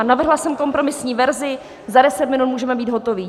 A navrhla jsem kompromisní verzi, za 10 minut můžeme být hotovi.